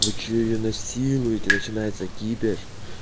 вы что её насилуете начинается кипиш